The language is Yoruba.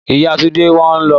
Ìyá Túndé ń wòn ón.